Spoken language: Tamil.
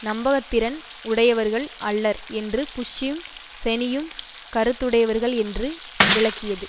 நம்பகத்திறன் உடையவர்கள் அல்லர் என்று புஷ்ஷும் செனியும் கருத்துடையவர்கள் என்று விளக்கியது